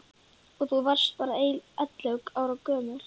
Og þú varst bara ellefu ára gömul.